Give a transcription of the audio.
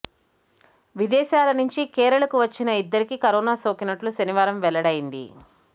విదేశాల నుంచి కేరళకు వచ్చిన ఇద్దరికి కరోనా సోకినట్లు శనివారం వెల్లడైంది